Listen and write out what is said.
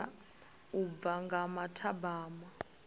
vula u bva nga mathabama